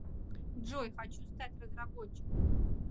джой хочу стать разработчиком